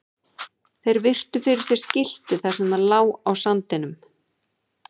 Þeir virtu fyrir sér skiltið þar sem það lá á sandinum.